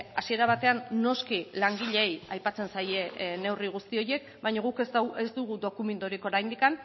hasiera batean noski langileei aipatzen zaie neurri guzti horiek baina guk ez dugu dokumenturik oraindik